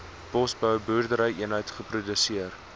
bosbou boerderyeenheid geproduseer